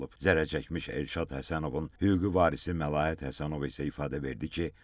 Zərər çəkmiş Elşad Həsənovun hüquqi varisi Məlahət Həsənova isə ifadə verdi ki,